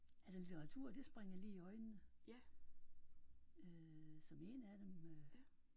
Altså litteratur det springer lige i øjnene øh som en af dem øh